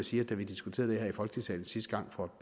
sige at da vi diskuterede det her i folketingssalen sidste gang for